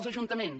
els ajuntaments